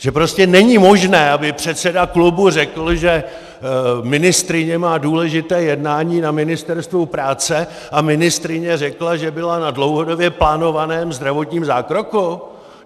Že prostě není možné, aby předseda klubu řekl, že ministryně má důležité jednání na Ministerstvu práce, a ministryně řekla, že byla na dlouhodobě plánovaném zdravotním zákroku?